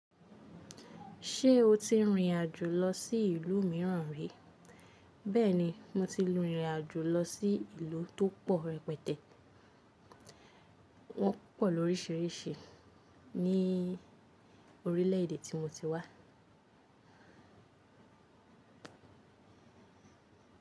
Ṣé o ti rìnrìn àjò lọ sí ìlú mìíràn rí? Bẹ́ẹ̀ni, mo ti rìnrìn àjò lọ sí ìlú tó pọ̀ rẹpẹtẹ, wọ́n pọ̀ lórísìíríìsí ní orílẹ̀ èdè tí mo ti wá.